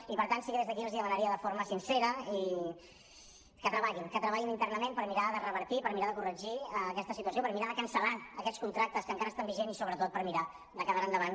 i per tant sí que des d’aquí els demanaria forma sincera que treballin que treballin internament per mirar de revertir per mirar de corregir aquesta situació per mirar de cancel·lar aquests contractes que encara estan vigents i sobretot per mirar de que d’ara endavant